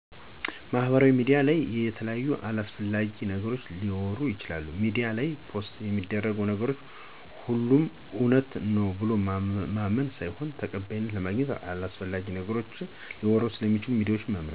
ማሀበራውያ ሚዲያ ለይ የተለያዩ አላሰፍላጊ ነገሮች ሊወሩ ይችላሉ ሜዲያ ላይ ፖሰት የሚደርጉ ነገሮች ሆሎም እውነት ነው ብሎ ማመን ሳይሆን ተቀባይነትን ለማግኝት አላሰፍላጊ ነገሮችን ሊወሩ ሰለሚችሉ ሚዲያወችን መምርጥ።